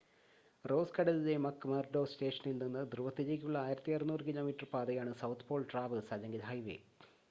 rose കടലിലെ McMurdo സ്റ്റേഷനിൽ നിന്ന് ധ്രുവത്തിലേക്കുള്ള 1600 കിലോമീറ്റർ പാതയാണ് സൗത്ത് പോൾ ട്രാവെർസ് അല്ലെങ്കിൽ ഹൈവേ